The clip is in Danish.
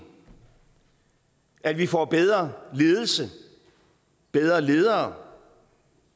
at vi får bedre ledelse bedre ledere